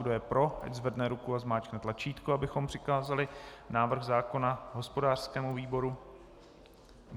Kdo je pro, ať zvedne ruku a zmáčkne tlačítko, abychom přikázali návrh zákona hospodářskému výboru.